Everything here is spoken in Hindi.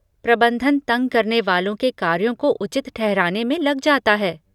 प्रबंधन तंग करने वालों के कार्यों को उचित ठहराने में लग जाता है।